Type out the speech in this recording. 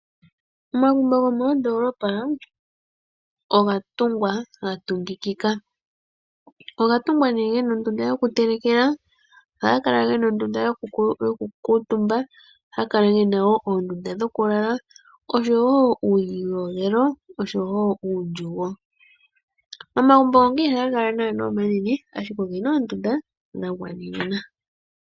Omagumbo gomoondoolopa oga tungwa, ga tungikika. Oga tungwa nee gena ondunda yoku telekela, ohaga kala gena ondunda yoku kuutumba, ohaga kala gena wo oondunda dhoku lala, oshowo uuyiyogelo oshowo uundjugo. Omagumbo ngaka ihaga kala omanene ashike ogena oondunda dha gwanenena.